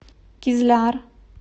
кизляр